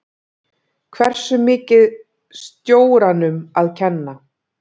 Hversu mikið stjóranum að kenna?